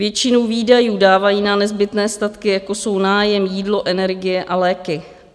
Většinu výdajů dávají na nezbytné statky, jako jsou nájem, jídlo, energie a léky.